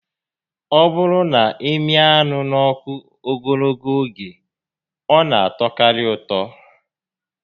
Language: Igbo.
Ọ bụrụ na ị mịa anụ n'ọkụ ogologo oge, ọ na atọkarị ụtọ